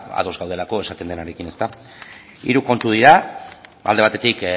ados gaudelako esaten denarekin hiru kontu dira alde batetik